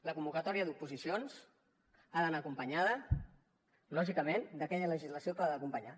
la convocatòria d’oposicions ha d’anar acompanyada lògicament d’aquella legislació que l’ha d’acompanyar